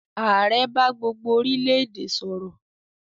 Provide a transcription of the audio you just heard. ààrẹ bá gbó gbó orile-ede sòrò.